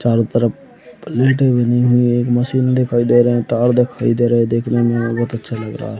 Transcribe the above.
चारो तरफ प्लेटे बनी हुई है। एक मशीन दिखाई दे रहे है। तार दिखाई दे रहे है। देखने में बहुत ही अच्छा लग रहा है।